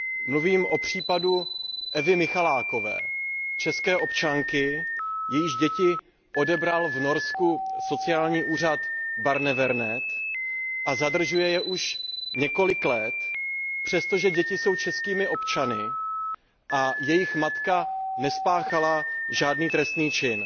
Mluvím o případu Evy Michalákové, české občanky, jejíž děti odebral v Norsku sociální úřad Barnevernet a zadržuje je už několik let, přestože děti jsou českými občany a jejich matka nespáchala žádný trestný čin.